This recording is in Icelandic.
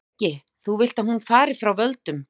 Breki: Þú vilt að hún fari frá völdum?